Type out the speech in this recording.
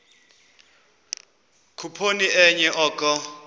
khuphoni enye oko